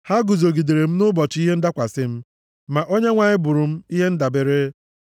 Ha guzogidere m nʼụbọchị ihe ndakwasị m, ma Onyenwe anyị bụrụ m ihe ndabere.